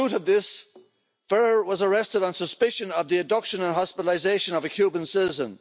The truth of this Ferrer was arrested on suspicion of the abduction and hospitalisation of a Cuban citizen.